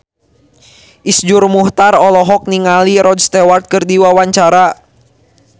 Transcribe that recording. Iszur Muchtar olohok ningali Rod Stewart keur diwawancara